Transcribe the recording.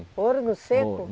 Ouro no seco?